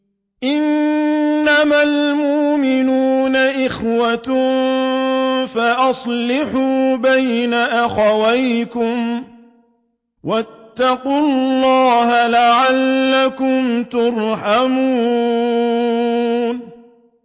إِنَّمَا الْمُؤْمِنُونَ إِخْوَةٌ فَأَصْلِحُوا بَيْنَ أَخَوَيْكُمْ ۚ وَاتَّقُوا اللَّهَ لَعَلَّكُمْ تُرْحَمُونَ